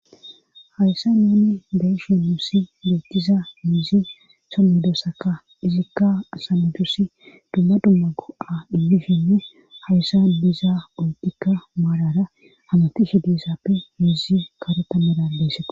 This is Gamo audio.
hayssa nuuni beyshe nussi beettiza miizi so modosaka izikka asanatusi dumma dumma go'a imishshenne hayssa diza oyddikka maalara hamatishe dosappe miizi kareta merabesseko